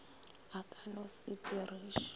a ka no se diriše